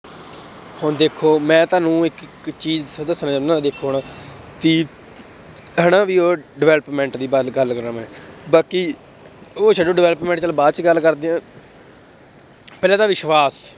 ਹੁਣ ਦੇਖੋ ਮੈਂ ਤੁਹਾਨੂੰ ਇੱਕ ਚੀਜ਼ ਦੱਸਣਾ ਚਾਹੁਨਾ ਦੇਖੋ ਹੁਣ ਕਿ ਹਨਾ ਵੀ ਉਹ development ਦੀ ਗੱਲ ਗੱਲ ਕਰਾਂ ਮੈਂ, ਬਾਕੀ ਉਹ ਛੱਡੋ development ਚੱਲ ਬਾਅਦ ਚ ਗੱਲ ਕਰਦੇ ਹਾਂ ਪਹਿਲਾਂ ਤਾਂ ਵਿਸ਼ਵਾਸ